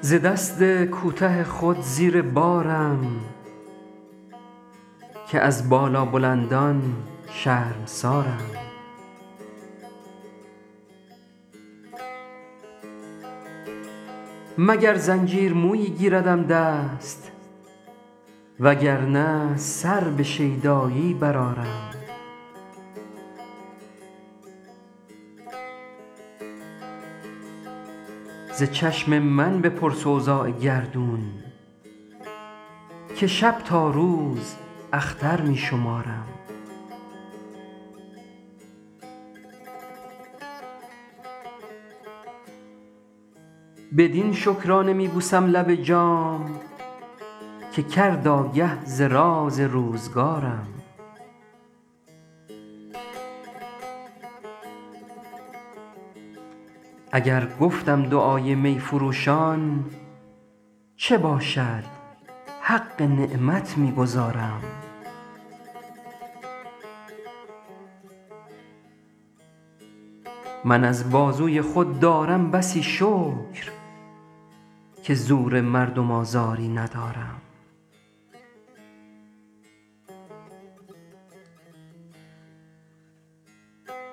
ز دست کوته خود زیر بارم که از بالابلندان شرمسارم مگر زنجیر مویی گیردم دست وگر نه سر به شیدایی برآرم ز چشم من بپرس اوضاع گردون که شب تا روز اختر می شمارم بدین شکرانه می بوسم لب جام که کرد آگه ز راز روزگارم اگر گفتم دعای می فروشان چه باشد حق نعمت می گزارم من از بازوی خود دارم بسی شکر که زور مردم آزاری ندارم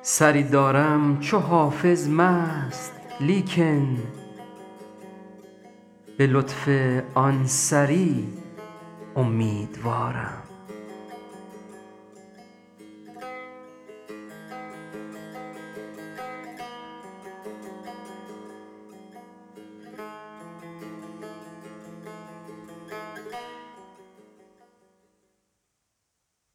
سری دارم چو حافظ مست لیکن به لطف آن سری امیدوارم